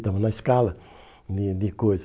Estava na escala de de coisas.